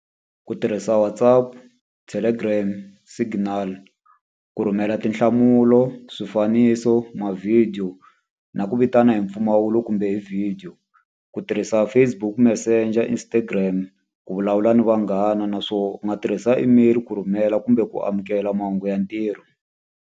Ku tirhisa WhatsApp, Telegram, Signal ku rhumela tinhlamulo, swifaniso, ma-video na ku vitana hi mpfumawulo kumbe hi video. Ku tirhisa Facebook Messenger, Instagram, ku vulavula ni vanghana. Naswona u nga tirhisa email ku rhumela kumbe ku amukela mahungu ya ntirho.